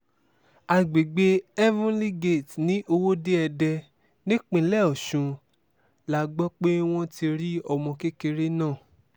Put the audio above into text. àgbègbè heavenly gate ní ọwọ́de-èdè nípínlẹ̀ ọ̀sùn la gbọ́ pé wọ́n ti rí ọmọ kékeré náà